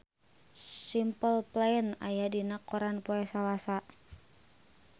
Simple Plan aya dina koran poe Salasa